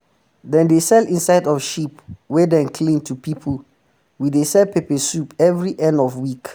dem dey sell inside of sheep wey dem clean to pipu wey dey sell peppersoup every end of week